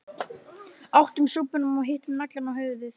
Átum súpuna og hittum naglann á höfuðið